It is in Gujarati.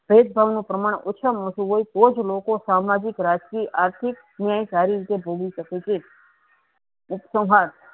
ભેદભાવ નુ પ્રમાણ ઓછુ મા ઓછુ હોય તોજ લોકો સામાજિક રાજ્કિય આર્થીક ન્યાય સારી રીતે ભોગી સકે છે.